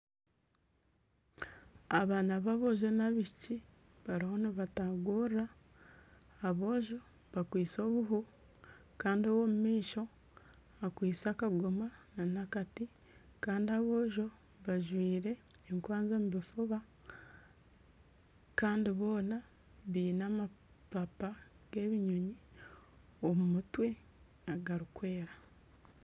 Abaana ba boojo n'abaishiiki bariho nibatagurura aboojo bakwitse obuuhu kandi omw'omu maisho akwistye akagoma na n'akati kandi aboojo bajwaire enkwanzi omu bifuba kandi boona biine amapapa g'ebinyonyi omu mutwe agarikwera.